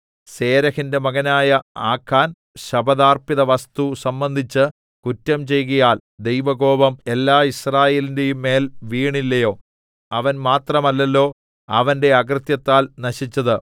സേരെഹിന്റെ മകനായ ആഖാൻ ശപഥാർപ്പിതവസ്തു സംബന്ധിച്ച് കുറ്റം ചെയ്കയാൽ ദൈവകോപം എല്ലാ യിസ്രായേലിന്റെയും മേൽ വീണില്ലയോ അവൻ മാത്രമല്ലല്ലോ അവന്റെ അകൃത്യത്താൽ നശിച്ചത്